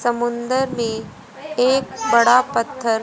समुद्र में एक बड़ा पत्थर--